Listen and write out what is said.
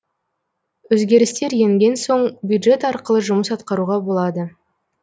өзгерістер енген соң бюджет арқылы жұмыс атқаруға болады